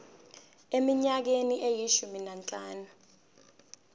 eminyakeni eyishumi nanhlanu